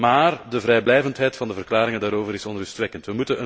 Maar de vrijblijvendheid van de verklaringen daarover is onrustwekkend.